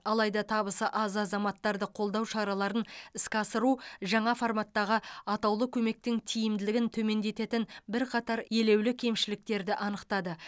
алайда табысы аз азаматтарды қолдау шараларын іске асыру жаңа форматтағы атаулы көмектің тиімділігін төмендететін бірқатар елеулі кемшіліктерді анықтады